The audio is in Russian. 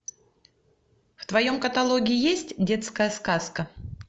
в твоем каталоге есть детская сказка